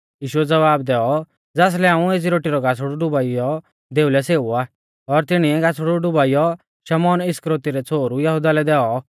यीशुऐ ज़वाव दैऔ ज़ासलै हाऊं एज़ी रोटी रौ गासड़ु डुबाइयौ दैऔ लै सेऊ आ और तिणीऐ गासड़ु डुबाइयौ शमौन इस्करियोती रै छ़ोहरु यहुदा लै दैऔ